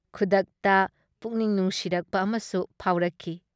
ꯈꯨꯗꯛꯇ ꯄꯨꯛꯅꯤꯡ ꯅꯨꯡꯁꯤꯔꯛꯄ ꯑꯃꯁꯨ ꯐꯥꯎꯔꯛꯈꯤ ꯫